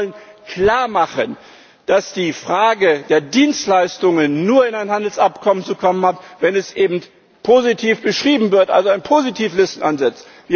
Wir wollen klarmachen, dass die Frage der Dienstleistungen nur in ein Handelsabkommen zu kommen hat, wenn sie eben positiv beschrieben wird, also an Positivlisten ansetzt.